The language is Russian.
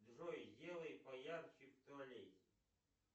джой сделай поярче в туалете